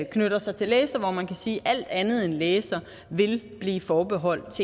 knytter sig til laser hvor man kan sige at alt andet end laser vil blive forbeholdt